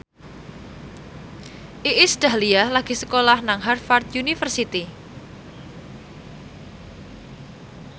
Iis Dahlia lagi sekolah nang Harvard university